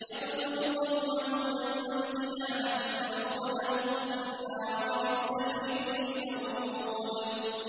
يَقْدُمُ قَوْمَهُ يَوْمَ الْقِيَامَةِ فَأَوْرَدَهُمُ النَّارَ ۖ وَبِئْسَ الْوِرْدُ الْمَوْرُودُ